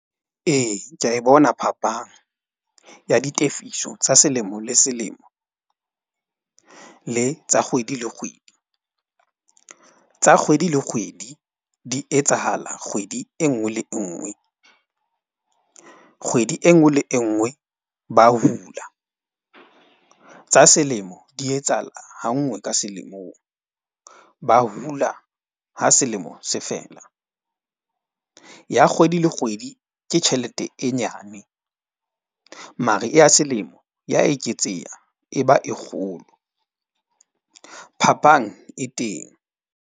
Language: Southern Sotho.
Ee, ke a e bona phapang ya ditefiso tsa selemo le selemo le tsa kgwedi le kgwedi. Tsa kgwedi le kgwedi di etsahala kgwedi e nngwe le e nngwe. Kgwedi e nngwe le e nngwe, ba hula. Tsa selemo di etsahala ha nngwe ka selemong. Ba hula ha selemo se fela. Ya kgwedi le kgwedi, ke tjhelete e nyane mare e ya selemo ya eketseha e ba e kgolo. Phapang e teng.